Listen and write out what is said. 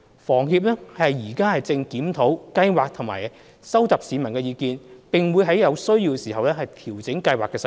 房協現正檢討計劃及收集市民意見，並會在有需要時調整計劃細節。